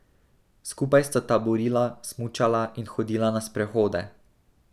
Skupaj sta taborila, smučala in hodila na sprehode.